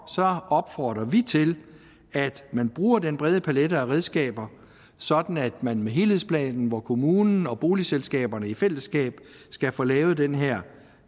opfordrer vi til at man bruger den brede palet af redskaber sådan at man med helhedsplanen hvor kommunen og boligselskaberne i fællesskab skal få lavet den her